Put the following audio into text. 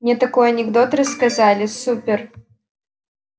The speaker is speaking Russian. мне такой анекдот рассказали супер